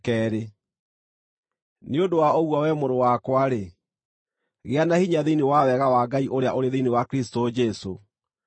Nĩ ũndũ wa ũguo, wee mũrũ wakwa-rĩ, gĩa na hinya thĩinĩ wa wega wa Ngai ũrĩa ũrĩ thĩinĩ wa Kristũ Jesũ.